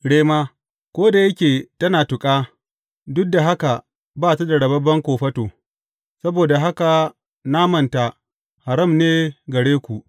Rema, ko da yake tana tuƙa, duk da haka ba ta da rababben kofato; saboda haka namanta haram ne gare ku.